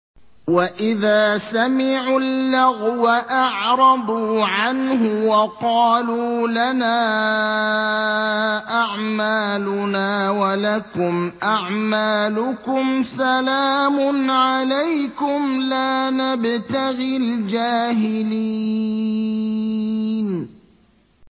وَإِذَا سَمِعُوا اللَّغْوَ أَعْرَضُوا عَنْهُ وَقَالُوا لَنَا أَعْمَالُنَا وَلَكُمْ أَعْمَالُكُمْ سَلَامٌ عَلَيْكُمْ لَا نَبْتَغِي الْجَاهِلِينَ